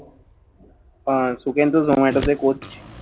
আর সুকেন্ত শর্মা এটাতে coach